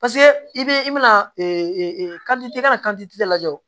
i bɛ i bɛna i ka na lajɛ o